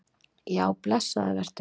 Já, blessaður vertu.